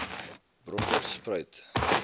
bronkhorspruit